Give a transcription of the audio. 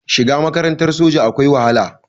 Shiga makarantar soja akwai wahala